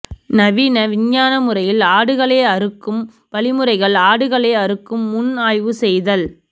நவீன விஞ்ஞான முறையில் ஆடுகளை அறுக்கும் வழிமுறைகள் ஆடுகளை அறுக்கும் முன் ஆய்வு செய்தல்